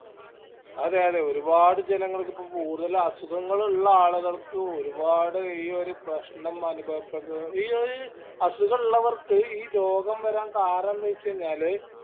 അതെ അതെ ഒരുപാട് ജനങ്ങൾക്ക് ഇപ്പൊ കൂടുതല് അസുഖങ്ങളിള്ള ആളികൾക്ക് ഒരുപാട് ഈ ഒരു പ്രശ്നം അനുഭവപ്പെട്ട ഈ ഒരു അസുഗിള്ളവർക്ക് ഈ രോഗം വരാൻ കാരണെന്തെച്ചഴിഞ്ഞാല്